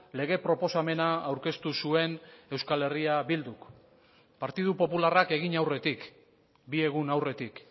lege proposamena aurkeztu zuen euskal herria bilduk partidu popularrak egin aurretik bi egun aurretik